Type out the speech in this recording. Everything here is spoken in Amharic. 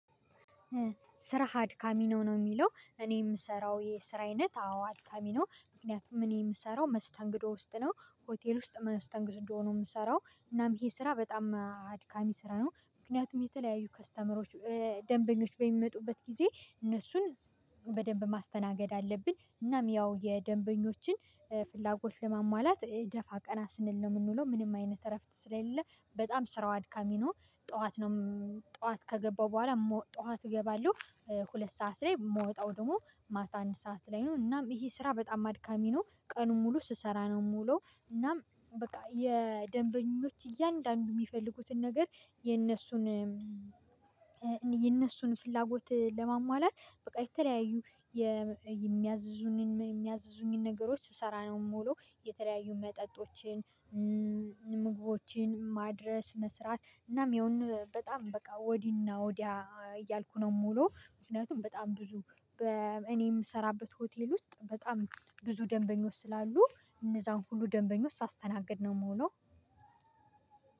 ስራህ አድካሚ ነው? ነው የሚለው እኔ የምሰራው የስራ አይነት አዎ አድካሚ ነው። ምክንያቱም እኔ የምሰራው መስተንግዶ ውስጥ ነው ሆቴል ውስጥ መስተንግዶ ነው የምሰራው እናም ይሄ ስራ አድካሚ ስራ ነው። ምክንያቱም የተለያዩ ከስተመሮች ደምበኞች በሚመጡበት ግዜ እነሱን በደንብ ማስተናገድ አለብኝ እናም የደንበኞችን ፍላጎት ለሟሟላት ደፋ ቀና ስንል ነው የምንውለው ምንም አይነት እረፍ ስለሌለ በጣም ስራው አድካሚ ነው። ጠዋት ጠዋት ከገባሁ በኋላ ጠዋት እገባለው ሁለት ሰዓት ላይ የምወጣው ደግሞ ማታ አንድ ሰዓት ላይ ነው እና ይሄ ስራ በጣም አድካሚ ነው። ቀኑን ሙሉ ስሰራ ነው የምውለው እናም በቃ የደምበኞች እያንዳንዱን የሚፈልጉትን ነገር የነሱን የነሱን ፍላጎት ለማሟላት በቃ የተለያዩ የሚያዙኝ የሚያዙኝን ነገሮች ስሰራ ነው የምውለው። የተለያዩ መጠጦችን ምግቦችን ማድረስ መስራት እናም የሆነ በጣም በቃየሆነ ወዲና ወዲያ እኔ የምሰራበት ሆቴል ውስጥ በጣም ብዙ ደምበኞች ስላሉ እነዛን ሁሉ ደምበኞች ሳስተናግድ ነው የምውለው።